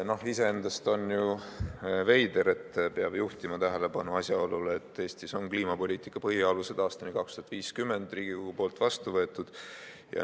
Iseenesest on ju veider, et peab juhtima tähelepanu asjaolule, et Eestis on vastu võetud otsus "Kliimapoliitika põhialused aastani 2050" Riigikogus.